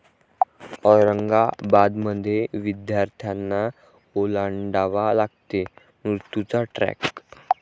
औरंगाबादमध्ये विद्यार्थ्यांना ओलांडावा लागतो मृत्यूचा ट्रॅक